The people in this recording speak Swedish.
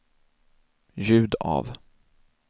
ljud av